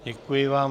Děkuji vám.